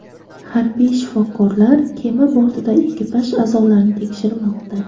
Harbiy shifokorlar kema bortida ekipaj a’zolarini tekshirmoqda.